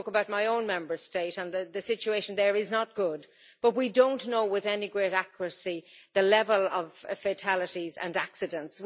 I spoke about my own Member State, and the situation there is not good, but we don't know with any great accuracy the level of fatalities and accidents.